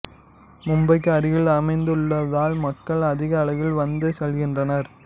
மும்பைக்கு அருகில் அமைந்துள்ளதால் மக்கள் அதிக அளவில் வந்து செல்கின்றனர்